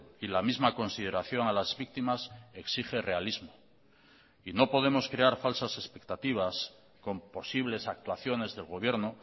y la misma consideración a las víctimas exige realismo y no podemos crear falsas expectativas con posibles actuaciones del gobierno